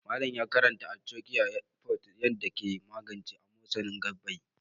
Malam ya karantar da kan arthocare forte ne da yaddaa yake magance amosanin gaɓɓai.